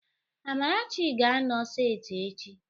Amarachi ga-anọ seti echi